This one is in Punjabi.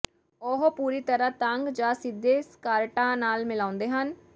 ਉਹ ਪੂਰੀ ਤਰ੍ਹਾਂ ਤੰਗ ਜਾਂ ਸਿੱਧੇ ਸਕਾਰਟਾਂ ਨਾਲ ਮਿਲਾਉਂਦੇ ਹਨ